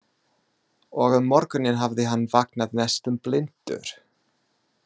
Og um morguninn hafði hann vaknað næstum blindur.